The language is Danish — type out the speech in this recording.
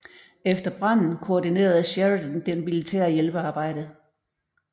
Efter branden koordinerede Sheridan det militære hjælpearbejde